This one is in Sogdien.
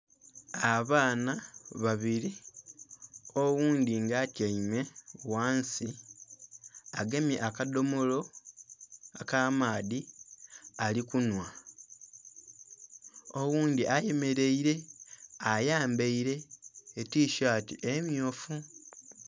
Abaana babiri oghundhi nga atyaime ghansi agemye akadhomolo aka maadhi ali kunhwa, oghundhi ayemereire ayambaire tisaati emyufu.